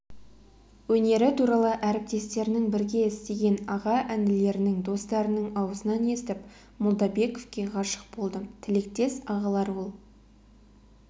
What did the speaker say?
өнері туралы әріптестерінің бірге істеген аға-інілерінің достарының аузынан естіп молдабековке ғашық болдым тілектес ағалар ол